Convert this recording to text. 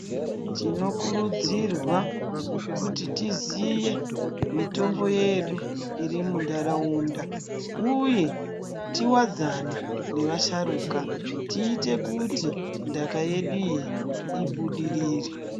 Tinokurudzirwa kuti tiziye mitombo yedu irimu nharaunda uye tiwadzane nevasharuka tiite kuti ndaka yedu iyi ibudirire.